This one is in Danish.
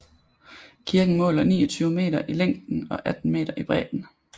Kirken måler 29 meter i længden og 18 meter i bredden